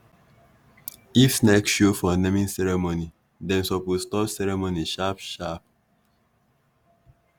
if snake show for naming ceremony dem suppose stop ceremony sharp sharp.